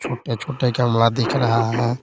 छोटे-छोटे कैमरा दिख रहा है।